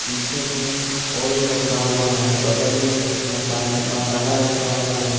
पीछे में ऑयल रखा हुआ है बगल में मसाले मसाला रखा हुआ है।